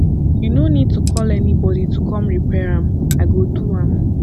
you no need to call anybody to come repair am i go do am